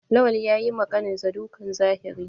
Lawan yayi ma ƙanin sa dukan zahiri.